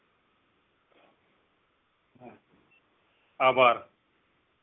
આભાર